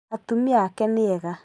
Atumia ake nĩ ega